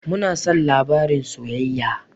Muna son labarin soyayya.